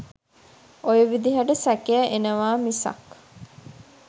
ඔය විදිහට සැකය එනවා මිසක්